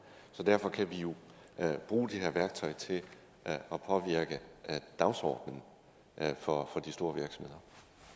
så derfor kan vi jo bruge det her værktøj til at påvirke dagsordenen for de store virksomheder